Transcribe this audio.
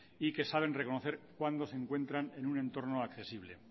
y que saben reconocer cuándo se encuentran en un entorno accesible